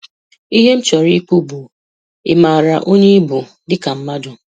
Ihe m chọrọ ikwu bu, ị maara onye ị bụ dị ka mmadụ?